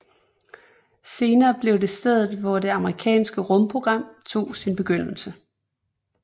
Senere blev det stedet hvor det amerikanske rumprogram tog sin begyndelse